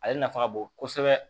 Ale nafa ka bon kosɛbɛ